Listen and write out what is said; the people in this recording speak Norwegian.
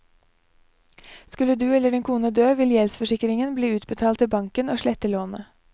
Skulle du eller din kone dø, vil gjeldsforsikringen bli utbetalt til banken og slette lånet.